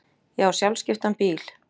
Ég á sjálfskiptan bíl.